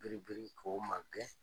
Biribiri ko ma gɛn